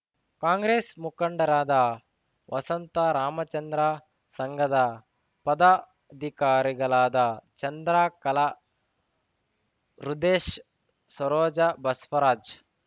ಕಾಂಗ್ರೆಸ್‌ ಮುಖಂಡರಾದ ವಸಂತ ರಾಮಚಂದ್ರ ಸಂಘದ ಪದಾಧಿಕಾರಿಗಳಾದ ಚಂದ್ರಕಲಾ ರುದೇಶ್‌ ಸರೋಜ ಬಸ್ವರಾಜ್